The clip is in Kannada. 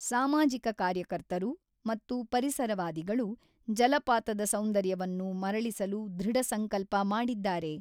ಸಾಮಾಜಿಕ ಕಾರ್ಯಕರ್ತರು ಮತ್ತು ಪರಿಸರವಾದಿಗಳು ಜಲಪಾತದ ಸೌಂದರ್ಯವನ್ನು ಮರಳಿಸಲು ದೃಢ ಸಂಕಲ್ಪ ಮಾಡಿದ್ದಾರೆ.